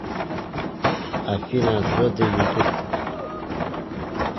афина звезды ютуб